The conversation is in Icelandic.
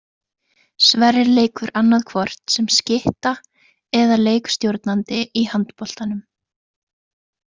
Sverrir leikur annaðhvort sem skytta eða leikstjórnandi í handboltanum.